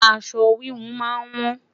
aṣọ wihun má n wọn